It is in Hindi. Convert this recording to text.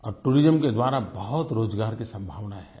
और टूरिज्म के द्वारा बहुत रोज़गार की संभावना है